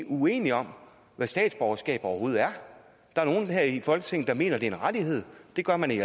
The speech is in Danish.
uenige om hvad statsborgerskab overhovedet er der er nogle her i folketinget der mener at det er en rettighed det gør man i